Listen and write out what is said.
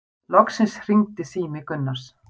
Loksins hringdi sími Gunnars.